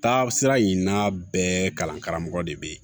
Taasira in n'a bɛɛ kalan karamɔgɔ de be yen